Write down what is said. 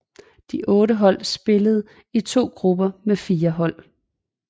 De otte hold spillede i to grupper med fire hold